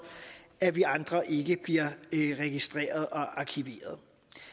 at vi andre ikke bliver registreret og arkiveret